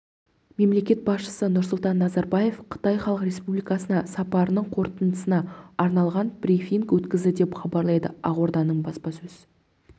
мемлекет басшысы нұрсұлтан назарбаев қытай халық республикасына сапарының қорытындысына арналған брифинг өткізді деп хабарлайды ақорданың баспасөз